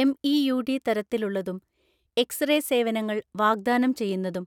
എംഇയുഡി തരത്തിലുള്ളതും X ray സേവനങ്ങൾ വാഗ്ദാനം ചെയ്യുന്നതും